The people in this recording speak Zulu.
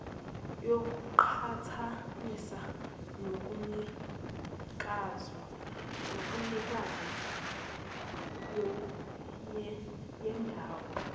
kuqhathaniswa nobunikazi boyedwa